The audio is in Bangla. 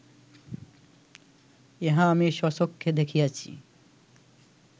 ইহা আমি স্বচক্ষে দেখিয়াছি